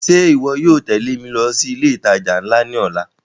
Ṣe iwọ yóò tẹle mi lọ si ile itaja nla ni ọla?